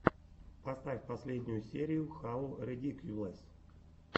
поставь последнюю серию хау редикьюлэс